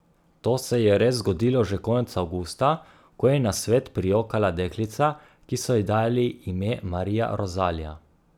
To se je res zgodilo že konec avgusta, ko je na svet prijokala deklica, ki so ji dali ime Marija Rozalija.